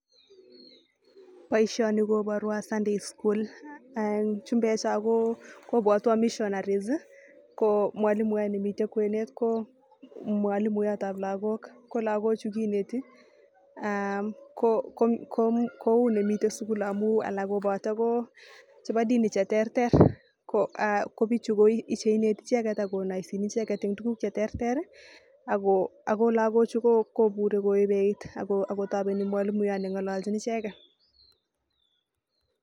Boisioni koborwo sunday school chumbek cho kobwatwa missionaries ko mwalimuyot nemite kwenet ko mwalimuyotab lakok ko lakochu kineti [uum] koune mite sukul amu alak kobote ko chebo dini cheterter kobichu koneti icheket akonaoisechin icheket eng tugun cheterter ako lakochu kobure koebei iit akotobeni mwalimuyot nengololchin icheket.